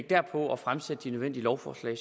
derpå at fremsætte de nødvendige lovforslag